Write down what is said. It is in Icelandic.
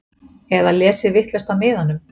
Eða lesið vitlaust af miðanum?